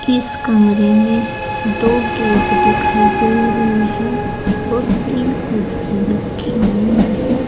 इस कमरे में दो गेट दिखाई दे रही है और तीन कुर्सी रखी हुई है।